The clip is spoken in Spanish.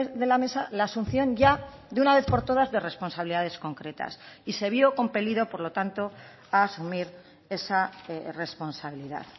de la mesa la asunción ya de una vez por todas de responsabilidades concretas y se vio compelido por lo tanto a asumir esa responsabilidad